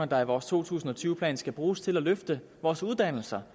der i vores to tusind og tyve plan skal bruges til at løfte vores uddannelser